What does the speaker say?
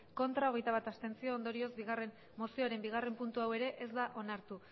ez hogeita bat abstentzio ondorioz mozioaren bigarrena puntu hau ere ez da onartu